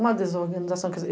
Uma desorganização quer dizer